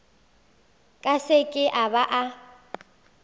ka seke a ba a